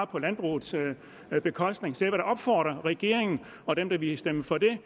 på landbrugets bekostning så jeg vil da opfordre regeringen og dem der ville stemme for det